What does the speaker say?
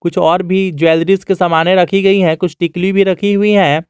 कुछ और भी ज्वेलरिस के सामाने रखी गई है कुछ टिकुली भी रखी हुई है।